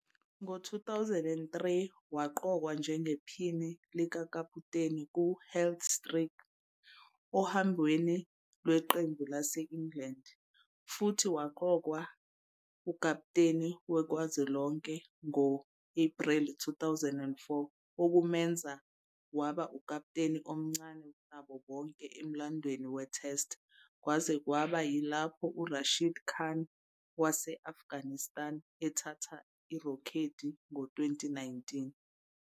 Ngo-2003, waqokwa njengephini likakaputeni ku- Heath Streak ohambweni lweqembu lase- England, futhi waqokwa ukapteni kazwelonke ngo-Ephreli 2004, okumenza waba ukapteni omncane kunabo bonke emlandweni we-Test, kwaze kwaba yilapho u-Rashid Khan wase-Afghanistan ethatha irekhodi ngo-2019.